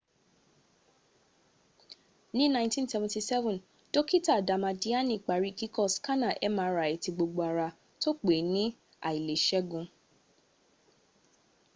ni 1977 dokita damadiani pari kiko skana mri ti gbogbo ara to pe ni ailesegun